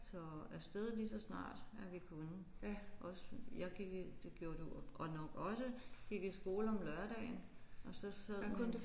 Så afsted lige så snart at vi kunne også jeg gik i det gjorde du og nok også gik i skole om lørdagen og så så